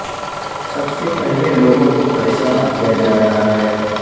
سب سے پہلے لوگوں کو پریشان کیا جا رہا ہے